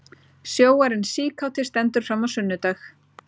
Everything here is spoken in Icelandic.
Sjóarinn síkáti stendur fram á sunnudag